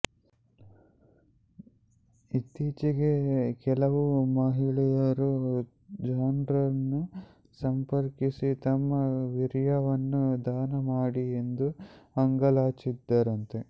ಇತ್ತೀಚೆಗೆ ಕೆಲವು ಮಹಿಳೆಯರು ಜಾನ್ರನ್ನು ಸಂಪರ್ಕಿಸಿ ತಮ್ಮ ವೀರ್ಯವನ್ನು ದಾನ ಮಾಡಿ ಎಂದು ಅಂಗಲಾಚಿದರಂತೆ